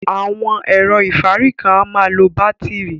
Awọn ẹ̀rọ̀ ifárí kan à màá ń lọ bátirí.